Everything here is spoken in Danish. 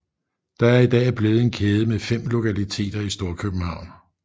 Det er i dag blevet en kæde med fem lokaliteter i Storkøbenhavn